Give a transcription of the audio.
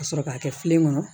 Ka sɔrɔ k'a kɛ filen kɔnɔ